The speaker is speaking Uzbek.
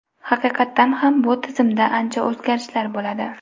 Haqiqatdan ham bu tizimda ancha o‘zgarishlar bo‘ladi.